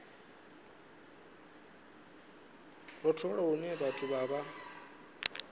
rothola lune vhathu vha vha